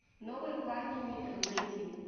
новые парни нитро найди